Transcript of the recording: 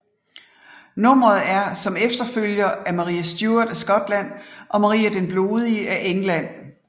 Nummeret er som efterfølger af Marie Stuart af Skotland og Maria den Blodige af England